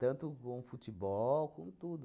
Tanto com futebol, como tudo.